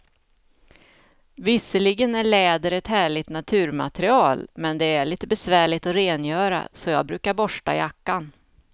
Visserligen är läder ett härligt naturmaterial, men det är lite besvärligt att rengöra, så jag brukar borsta jackan.